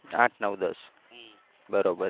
આઠ નવ દસ. બરોબર.